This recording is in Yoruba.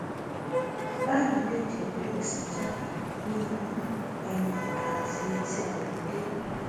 báyìí lẹjẹ bẹrẹ sí í jáde ní imú ẹnu àti etí ayọmídé